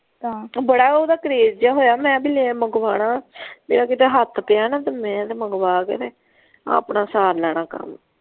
ਤਾਂ ਬੜਾ ਓਹਦਾ ਕਰੇਜ ਜੇਹਾ ਹੋਇਆ ਮੈਂ ਬੀ ਲੈ ਮੰਗਵਾਉਣਾ ਮੇਰਾ ਕਿਤੇ ਹੱਥ ਪਿਆ ਨਾ ਤੇ ਮੈਂ ਤੇ ਮੰਗਵਾ ਕੇ ਨਾ ਆਪਣਾ ਸਾਰ ਲੈਣਾ ਕੰਮ।